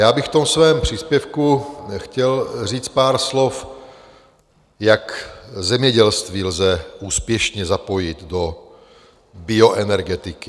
Já bych v tom svém příspěvku chtěl říct pár slov, jak zemědělství lze úspěšně zapojit do bioenergetiky.